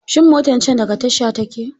Shin motan can daga tasha take!